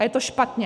A je to špatně.